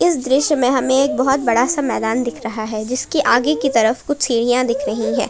इस दृश्य में हमें एक बहुत बड़ा सा मैदान दिख रहा है जिसके आगे की तरफ कुछ सीढ़ियां दिख रही है।